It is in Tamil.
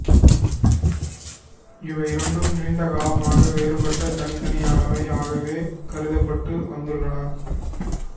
இவையிரண்டும் நீண்ட காலமாக வேறுபட்ட தனித்தனியானவை ஆகவே கருதப்பட்டு வந்துள்ளன